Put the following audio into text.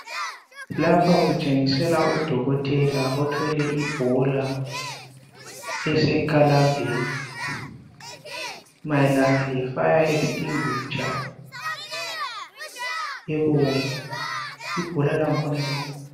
Lapha kutshengisela udokotela othwele ibhola esekalambeni mayelana lefire extinguisher ebomvu ibhola lakhona libomvu lalo.